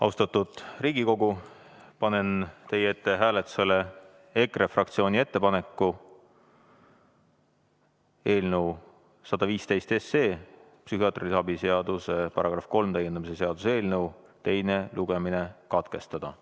Austatud Riigikogu, panen teie ette hääletusele EKRE fraktsiooni ettepaneku eelnõu 115, psühhiaatrilise abi seaduse § 3 täiendamise seaduse eelnõu teine lugemine katkestada.